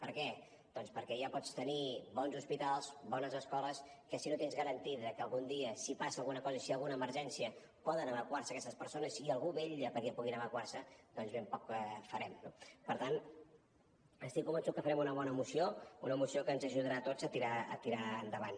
per què doncs perquè ja pots tenir bons hospitals bones escoles que si no tens garantit que algun dia si passa alguna cosa i si hi ha alguna emergència poden evacuar se aquestes persones i algú vetlla perquè puguin evacuar se ben poc farem no per tant estic convençut que farem una bona moció una moció que ens ajudarà a tots a tirar endavant